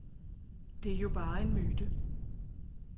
Det er jo bare en myte.